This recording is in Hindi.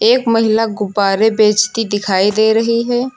एक महिला गुब्बारे बेचती दिखाई दे रही है।